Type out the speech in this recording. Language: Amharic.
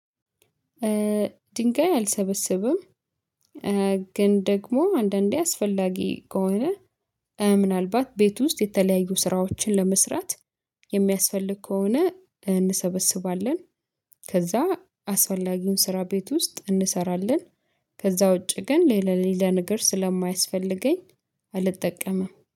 ድንጋይ አልሰበሰብም። ግን ደግሞ አንዳንዴ አስፈላጊ ከሆነ ምናልባት ቤት ውስጥ የተለያዩ ስራዎችን ለመስራት የሚያስፈልግ ከሆነ እንሰበስባለን። ከዛ አስወላጊውን ስራ ቤት ውስጥ እንሰራለን። ከዛ ውጪ ግን ሌላ ሌላ ነገር ስለማያስፈልገኝ አልጠቀምም